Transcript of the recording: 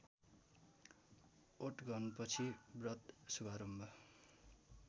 ओटघनपछि व्रत शुभारम्भ